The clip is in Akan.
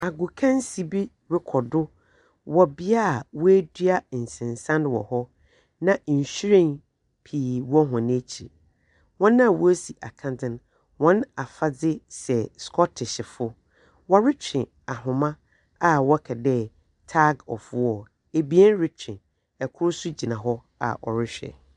Akokansi bi rekɔ do wɔ bea wɔadua nsensan wɔ hɔ. Na nhyiren wɔ hɔn akyir. Wɔn a wɔresi akandzen, wɔn afadze sɛ Scortishfo. Wɔretwe ahoma a wɔka dɛ tag of war. Abien retwe. Ikor so gyina hɔ a ɔrehwɛ.